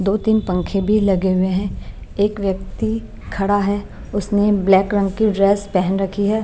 दो-तीन पंखे भी लगे हुए हैं एक व्यक्ति खड़ा है उसने ब्लैक रंग की ड्रेस पहन रखी है।